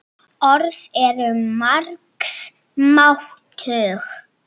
Orð eru margs máttug.